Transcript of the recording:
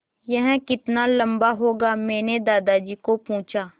यह कितना लम्बा होगा मैने दादाजी को पूछा